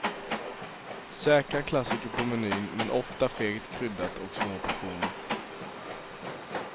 Säkra klassiker på menyn, men ofta fegt kryddat och små portioner.